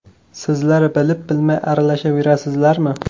Sizlar bilib-bilmay aralashaverasizlarmi?